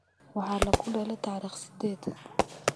Waxaa lakudale tarikh sided.